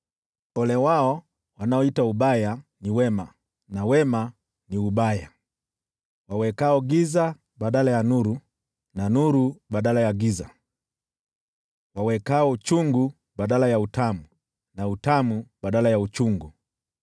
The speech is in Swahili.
Ole wao wanaoita ubaya ni wema, na wema ni ubaya, wawekao giza badala ya nuru, na nuru badala ya giza, wawekao uchungu badala ya utamu, na utamu badala ya uchungu.